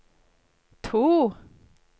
to